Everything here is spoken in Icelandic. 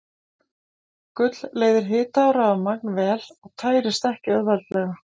Gull leiðir hita og rafmagn vel og tærist ekki auðveldlega.